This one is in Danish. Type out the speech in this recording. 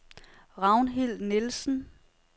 Ragnhild Nielsen